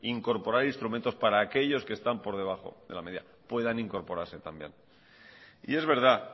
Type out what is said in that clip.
incorporar instrumentos para aquellos que están por debajo de la media puedan incorporarse también y es verdad